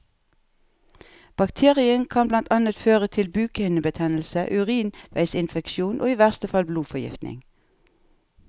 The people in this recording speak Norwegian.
Bakterien kan blant annet føre til bukhinnebetennelse, urinveisinfeksjon og i verste fall blodforgiftning.